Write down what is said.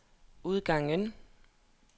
udgangen